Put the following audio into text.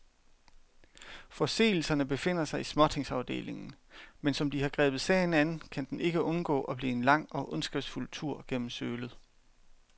Forseelserne befinder sig i småtingsafdelingen, men som de har grebet sagen an, kan den ikke undgå at blive en lang og ondskabsfuld tur gennem sølet.